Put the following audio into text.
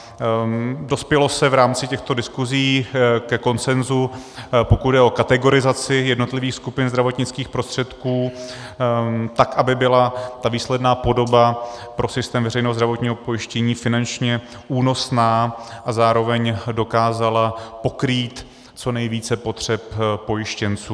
Dospělo se v rámci těchto diskusí ke konsenzu, pokud jde o kategorizaci jednotlivých skupin zdravotnických prostředků tak, aby byla ta výsledná podoba pro systém veřejného zdravotního pojištění finančně únosná a zároveň dokázala pokrýt co nejvíce potřeb pojištěnců.